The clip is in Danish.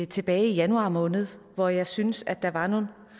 tilbage i januar måned hvor jeg syntes der var nogle